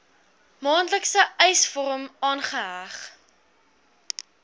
maandelikse eisvorm aangeheg